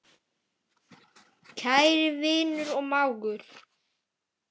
Kæri vinur og mágur.